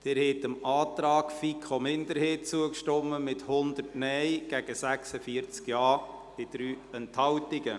Sie haben dem Antrag der FiKo-Minderheit zugestimmt, mit 100 Nein- gegen 46 JaStimmen bei 3 Enthaltungen.